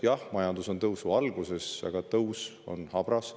Jah, majandus on tõusu alguses, aga tõus on habras.